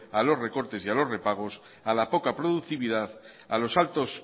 a los recortes y a los repagos a la poca productividad a los altos